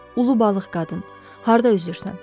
Ulu balıq qadın harda üzürsən?